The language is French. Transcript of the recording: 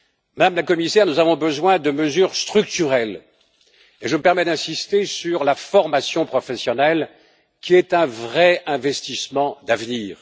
Madame la Commissaire, nous avons besoin de mesures structurelles et je me permets d'insister sur la formation professionnelle, qui est un vrai investissement d'avenir.